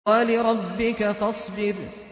وَلِرَبِّكَ فَاصْبِرْ